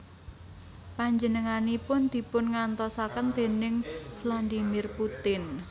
Panjenenganipun dipungantosaken déning Vladimir Putin